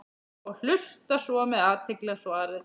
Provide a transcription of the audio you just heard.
og hlusta svo með athygli á svarið.